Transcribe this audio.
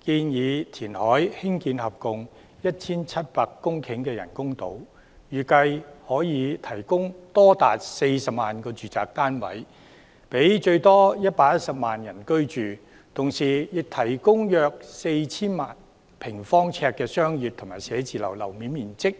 建議填海興建合共 1,700 公頃的人工島，預計可以提供多達40萬個住宅單位，讓最多110萬人居住，同時亦提供約 4,000 萬平方呎的商業及寫字樓樓面面積。